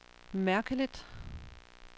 mærkeligt